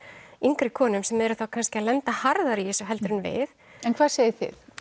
yngri konum sem eru þá kannski að lenda harðara í þessu heldur enn við en hvað segið þið